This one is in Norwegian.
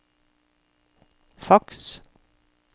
faks